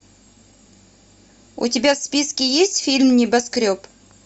у тебя в списке есть фильм небоскреб